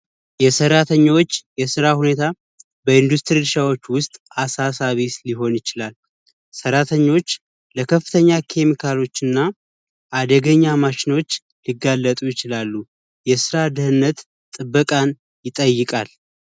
የሰራተኞች የስራ ሁኔታ በኢንዱስትሪዎች ውስጥ አሳሳቢስ ሊሆን ይችላል ተኞች የከፍተኛ ኬሚካሎችና አደገኛ ማሽኖች ሊጋለጡ ይችላሉ የስራ ድህነት ጥበቃን ይጠይቃል